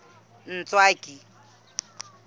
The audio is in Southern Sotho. ntswaki